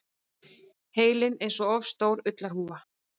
Heilinn einsog of stór ullarhúfa.